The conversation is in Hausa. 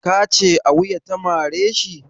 Ka ce a wuya ta mare shi?